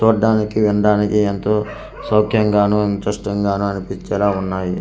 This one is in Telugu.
చూడ్డానికి వినడానికి ఏంతో సౌక్యంగాను ఇంటరెష్టిం గాను అనిపించేలా ఉన్నాయి.